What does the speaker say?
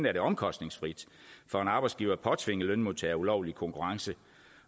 er det omkostningsfrit for en arbejdsgiver at påtvinge lønmodtagere ulovlige konkurrence